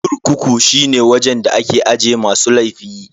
Kurkuku shine wajen da ake aje masu laifi.